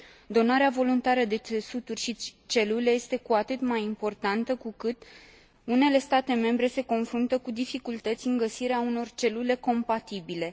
Donarea voluntară de țesuturi și celule este cu atât mai importantă cu cât unele state membre se confruntă cu dificultăți în găsirea unor celule compatibile.